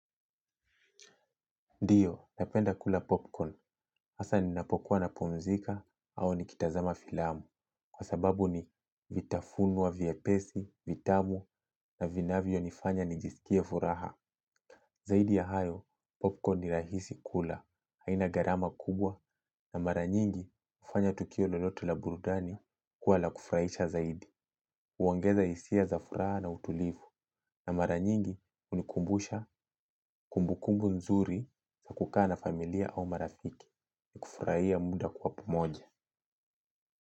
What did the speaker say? Ndiyo, napenda kula popcorn, hasa ninapokuwa napumzika au nikitazama filamu, kwa sababu ni vitafuno wa vyepesi, vitamu na vinavyonifanya nijisikie furaha. Zaidi ya hayo, popcorn ni rahisi kula, haina gharama kubwa na mara nyingi hufanya tukio lolote la burudani kuwa la kufurahisha zaidi. Huongeza hisia za furaha na utulivu na mara nyingi hunikumbusha kumbukumbu nzuri za kukaa na familia au marafiki. Kufurahia muda kwa pamoja.